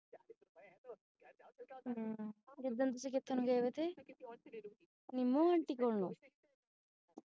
ਹੁ ਜਿਸ ਦਿਨ ਤੁਸੀਂ ਕੀਰਤਨ ਗਏ ਹੋਏ ਸੀ ਨਿੰਮੋ aunty ਕੋਲ